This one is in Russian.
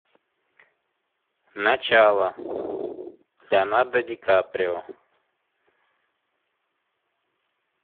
начало леонардо ди каприо